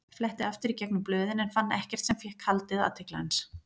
Fletti aftur í gegnum blöðin en fann ekkert sem fékk haldið athygli hans.